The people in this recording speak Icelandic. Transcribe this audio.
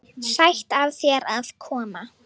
Sætt af þér að koma.